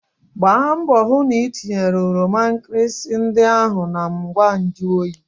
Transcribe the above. Gbaa mbọ hụ na itinyere oroma nkịrịsị ndị ahụ na ngwa nju oyi!